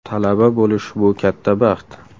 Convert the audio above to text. Talaba bo‘lish bu katta baxt.